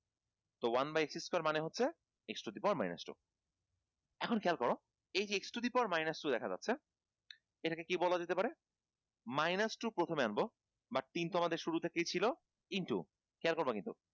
তো one by x square মানে হচ্ছে x to the power minus two এখন খেয়াল কর এইযে x to the power minus two দেখা যাচ্ছে এটাকে কী বলা যেতে পারে? minus two প্রথমে আনব বা তিন তো আমাদের শুরু থেকেই ছিল into খেয়াল করবা কিন্তু